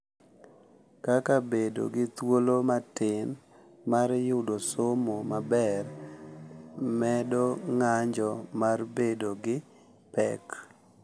Kaka bedo gi thuolo matin mar yudo somo maber medo ng’anjo mar bedo gi pek.